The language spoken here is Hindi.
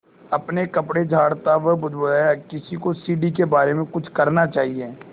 अपने कपड़े झाड़ता वह बुदबुदाया किसी को सीढ़ी के बारे में कुछ करना चाहिए